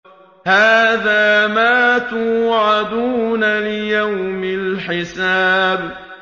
هَٰذَا مَا تُوعَدُونَ لِيَوْمِ الْحِسَابِ